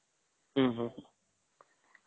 ଉମ ହମ୍ମ